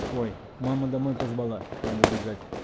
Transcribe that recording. ой мама домой позвала надо бежать